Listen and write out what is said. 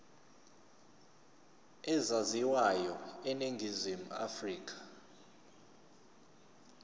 ezaziwayo eningizimu afrika